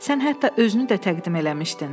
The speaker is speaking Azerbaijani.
Sən hətta özünü də təqdim eləmişdin.